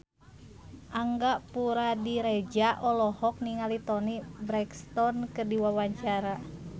Angga Puradiredja olohok ningali Toni Brexton keur diwawancara